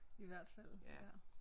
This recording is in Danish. I hvert fald ja